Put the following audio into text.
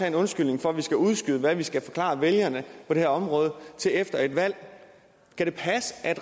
en undskyldning for at man skal udskyde hvad man skal forklare vælgerne på det her område til efter et valg kan det passe at